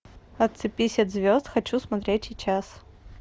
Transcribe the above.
отцепись от звезд хочу смотреть сейчас